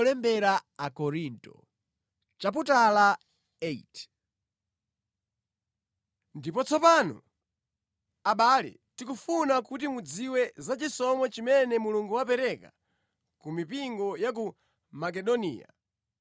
Ndipo tsopano, abale, tikufuna kuti mudziwe za chisomo chimene Mulungu wapereka ku mipingo ya ku Makedoniya.